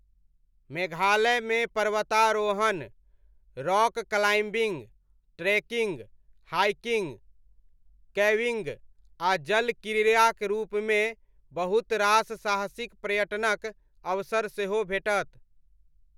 मेघालयमे पर्वतारोहण, rock climbing, trekking, hiking, caving, आ जल क्रीड़ाक रूपमे बहुत रास साहसिक पर्यटनक अवसर सेहो भेटत।